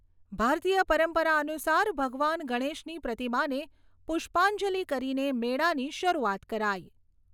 ભારતીય પરંપરા અનુસાર ભગવાન ગણેશની પ્રતિમાને પુષ્પાંજલિ કરીને મેળાની શરૂઆત કરાઈ.